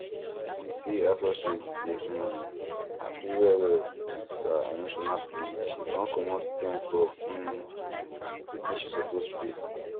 di sale associate dey um happy well well with her emotional plea she con comot ten for um wetin she suppose pay